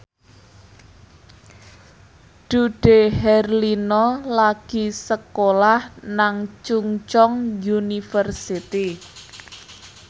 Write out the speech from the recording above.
Dude Herlino lagi sekolah nang Chungceong University